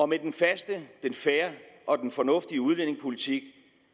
med den faste den fair og den fornuftige udlændingepolitik